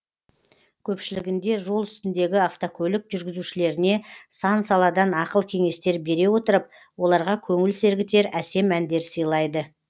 көпшілігінде жол үстіндегі автокөлік жүргізушілеріне сан саладан ақыл кеңестер бере отырып оларға көңіл сергітер әсем әндер сыйлайды